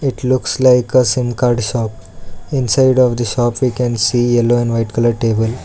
It looks like a sim card shop inside of the shop you can see yellow and white colour table.